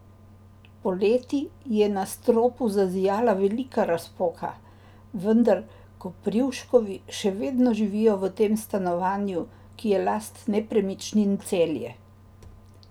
Poleti je na stropu zazijala velika razpoka, vendar Koprivškovi še vedno živijo v tem stanovanju, ki je last Nepremičnin Celje.